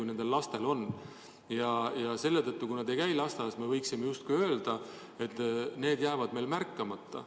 Ja selle tõttu me justkui võime öelda, et kui laps ei käi lasteaias, siis need probleemid jäävad märkamata.